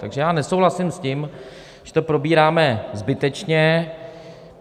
Takže já nesouhlasím s tím, že to probíráme zbytečně.